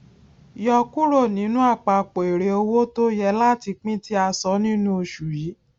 yọ kúrò nínú àpapọ èrè owó tó yẹ láti pín tì a sọ nínú oṣù yìí